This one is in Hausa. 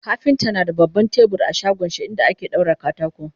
kafinta na da baban tebur a shagonshi inda ake daura katako